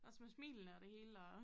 Også med smilene og det hele og?